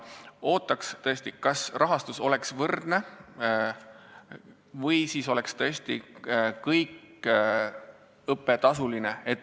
Ootame tõesti, et rahastus oleks võrdne, või siis oleks kogu õpe tasuline.